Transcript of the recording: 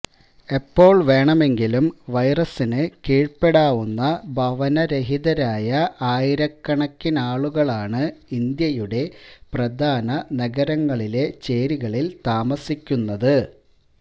എപ്പോൾ വേണമെങ്കിലും വൈറസിന് കീഴ്പ്പെടാവുന്ന ഭവനരഹിതരായ ആയിരക്കണക്കിനാളുകളാണ് ഇന്ത്യയുടെ പ്രധാന നഗരങ്ങളിലെ ചേരികളിൽ താമസിക്കുന്നത്